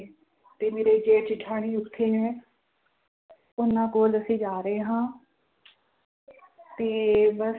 ਤੇ ਮੇਰੇ ਜੇਠ ਜੇਠਾਣੀ ਉੱਥੇ ਹੈ ਉਹਨਾਂ ਕੋਲ ਅਸੀਂ ਜਾ ਰਹੇ ਹਾਂ ਤੇ ਬਸ,